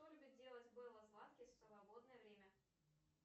что любит делать белла златкис в свободное время